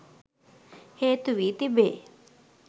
හේතු වී තිබේ